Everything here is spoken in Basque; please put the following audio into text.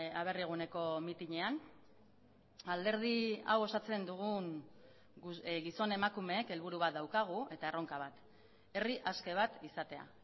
aberri eguneko mitinean alderdi hau osatzen dugun gizon emakumeek helburu bat daukagu eta erronka bat herri aske bat izatea